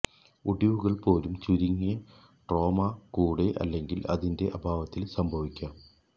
ഒടിവുകൾ പോലും ചുരുങ്ങിയ ട്രോമ കൂടെ അല്ലെങ്കിൽ അതിന്റെ അഭാവത്തിൽ സംഭവിക്കാം